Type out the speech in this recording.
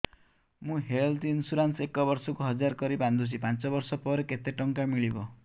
ମୁ health insurance ଏକ ବର୍ଷକୁ ହଜାର କରି ବାନ୍ଧୁଛି ପାଞ୍ଚ ବର୍ଷ ପରେ କେତେ ଟଙ୍କା ମିଳିବ